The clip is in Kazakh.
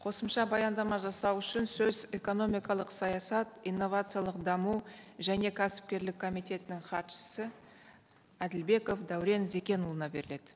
қосымша баяндама жасау үшін сөз экономикалық саясат инновациялық даму және кәсіпкерлік комитетінің хатшысы әділбеков дәурен зекенұлына беріледі